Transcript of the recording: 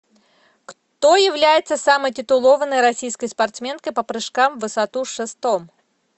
кто является самой титулованной российской спортсменкой по прыжкам в высоту с шестом